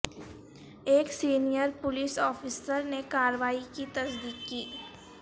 ایک senior police افسر نے کارروائی کی تصدیق کی